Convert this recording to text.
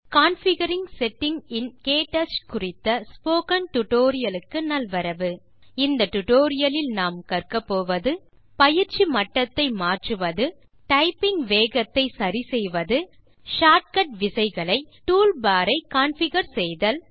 configuring setting in KTouch spoken tutorial க்கு நல்வரவு இந்த டுடோரியலில் கற்கப்போவது பயிற்சி மட்டத்தை மாற்றுவது டைப்பிங் வேகத்தை சரி செய்வது ஷார்ட் கட் விசைகளை toolbarஐ கான்ஃபிகர் செய்தல்